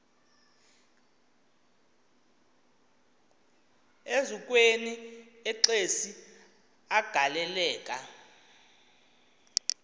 eziukweni exesi agaleleka